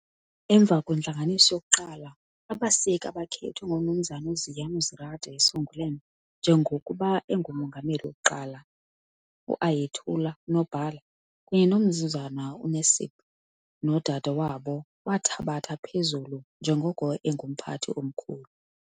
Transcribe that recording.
Emva kwentlanganiso yokuqala abaseki akhethwe uMnu Ziya Nurizade Songülen njengoko ngumongameli wokuqala. Ayetullah uNobhala kunye noMnu Necip Okaner uSister wathabatha phezu njengoko umphathi omkhulu.